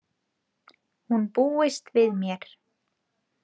Hún búist við mér.